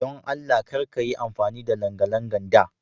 Don Allah Kar kayi amfani da langalangan da.